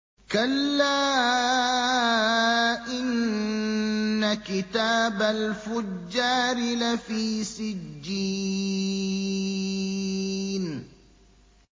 كَلَّا إِنَّ كِتَابَ الْفُجَّارِ لَفِي سِجِّينٍ